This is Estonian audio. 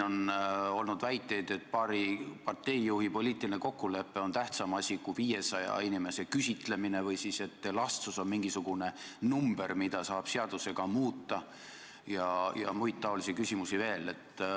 On olnud väiteid, et paari parteijuhi poliitiline kokkulepe on tähtsam kui 500 inimese küsitlemine või et elastsus on mingisugune number, mida saab seadusega muuta, ja muid taolisi küsimusi veel.